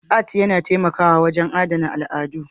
Art yana taimakawa wajen adana al'adu